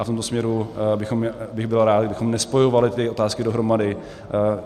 A v tomto směru bych byl rád, kdybychom nespojovali ty otázky dohromady.